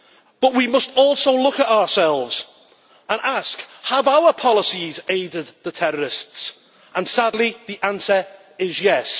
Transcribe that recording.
But we must also look at ourselves and ask whether our policies have aided the terrorists and sadly, the answer is yes.